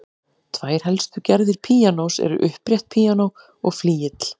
Tvær helstu gerðir píanós eru upprétt píanó og flygill.